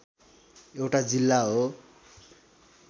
एउटा जिल्ला हो